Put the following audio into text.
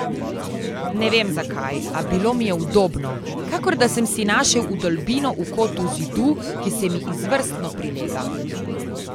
Ne vem zakaj, a bilo mi je udobno, kakor da sem si našel vdolbino v kotu zidu, ki se mi izvrstno prilega.